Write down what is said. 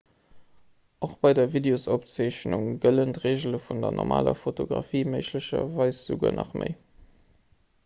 och bei der videosopzeechnung gëllen d'reegele vun der normaler fotografie méiglecherweis esouguer nach méi